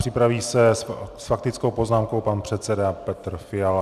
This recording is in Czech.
Připraví se s faktickou poznámkou pan předseda Petr Fiala.